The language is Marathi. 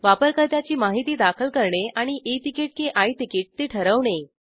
वापरकर्त्याची माहिती दाखल करणे आणि ई तिकीट की आय तिकीट ते ठरवणे